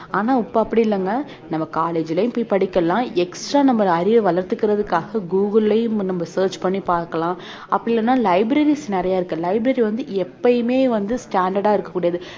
ஆனா இப்ப அப்படி இல்லைங்க நம்ம college லயும் போய் படிக்கலாம் extra நம்ம அறிவ வளர்த்துக்கறதுகாக கூகுள்லயும் வந்து நம்ம search பண்ணி பார்க்கலாம் அப்படி இல்லன்னா libraries நிறைய இருக்கு library வந்து எப்பயுமே வந்து standard ஆ இருக்ககூடியது